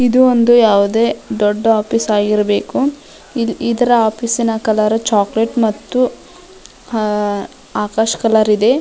ಇದು ಒಂದು ಯಾವುದೆ ದೊಡ್ಡ ಆಫೀಸ್ ಆಗಿರ್ಬೇಕು ಇದರ ಆಫೀಸ್ ನ ಕಲರ್ ಚಾಕಲೇಟ್ ಮತ್ತು ಆಹ್ಹ್ ಆಕಾಶ್ ಕಲರ್ ಇದೆ.